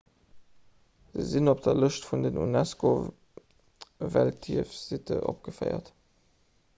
se sinn op der lëscht vun den unesco-weltierfsitte opgeféiert